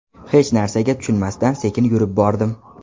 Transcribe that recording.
Hech narsaga tushunmasdan sekin yurib bordim.